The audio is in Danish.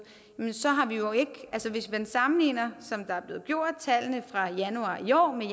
hvis man sammenligner tallene fra januar i år med